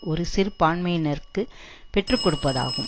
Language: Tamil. ஒரு சிறுபான்மையினருக்கு பெற்று கொடுப்பதாகும்